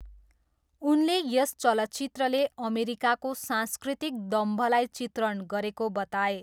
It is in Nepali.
उनले यस चलचित्रले अमेरिकाको सांस्कृतिक दम्भलाई चित्रण गरेको बताए।